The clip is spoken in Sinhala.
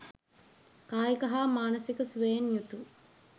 කායික හා මානසික සුවයෙන් යුතු